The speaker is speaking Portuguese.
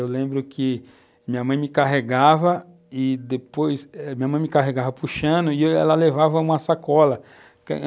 Eu lembro que minha mãe me carregava e depois, minha eh minha mãe me carregava puxando e ela levava uma sacola